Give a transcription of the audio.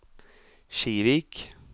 Kivik